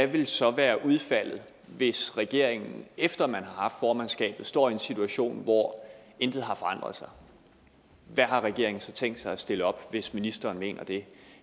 vil så være udfaldet hvis regeringen efter at man har haft formandskabet står i en situation hvor intet har forandret sig hvad har regeringen tænkt sig at stille op hvis ministeren mener det